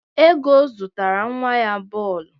Ego zụtara nwa ya bọọlụ.